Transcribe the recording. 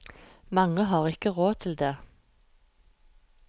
Mange har ikke råd til det.